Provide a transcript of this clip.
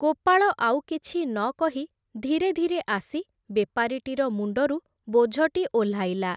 ଗୋପାଳ ଆଉ କିଛି ନ କହି ଧିରେ ଧିରେ ଆସି ବେପାରୀଟିର ମୁଣ୍ଡରୁ ବୋଝଟି ଓହ୍ଲାଇଲା ।